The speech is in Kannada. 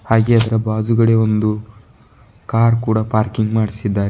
ಹಾಗೆ ಅದರ ಬಾಜುಗಡಿ ಒಂದು ಕಾರ್ ಕೂಡ ಪಾರ್ಕಿಂಗ್ ಮಾಡ್ಸಿದಾರೆ.